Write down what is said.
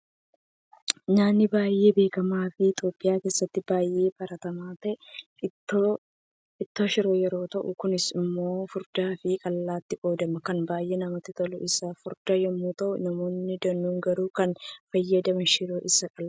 Nyaanni baay'ee beekama fi Itiyoophiyaa keessatti baay'ee baratamaa ta'e ittoo shiroo yeroo ta'u, kunis immoo furdaa fi qallaattii qoodama. Kan baay'ee namatti tolu isa furdaa yommuu ta'u, namoonni danuun garuu kan fayyadaman shiroo isa qallaadha.